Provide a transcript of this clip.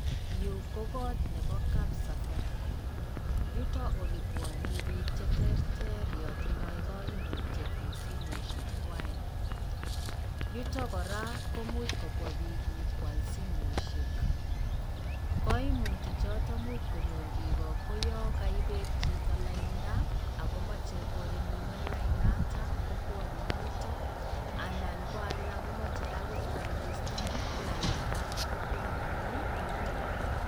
Yu ko koot nebo kapsafaricom yuto olebwanei bik cheterter ya tindoi kaimutiet eng simosiek kwai. Yuto kora komuch kobwa biik nyo kwaal simoshek. Kaimuti choto imuch konyor biik kou yo kaibet chito lainda akomachei chito korinewen lainata kopwanei yuto anan ko alak komachei koregistan lainda kopwanei yuto.